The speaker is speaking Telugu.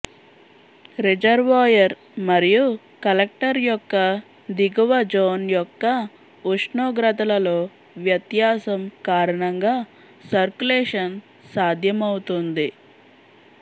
రిజర్వాయర్ మరియు కలెక్టర్ యొక్క దిగువ జోన్ యొక్క ఉష్ణోగ్రతలలో వ్యత్యాసం కారణంగా సర్క్యులేషన్ సాధ్యమవుతుంది